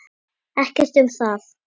Ekkert um það.